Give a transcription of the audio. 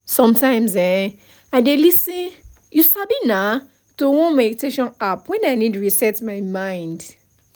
sometimes[um]i dey lis ten you sabi na to one meditation app when i need to reset my mind